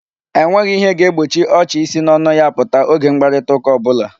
E nweghi ihe ga-egbochi ọchị isi n'ọnụ ya apụta oge mkparitaụka ọ bụla.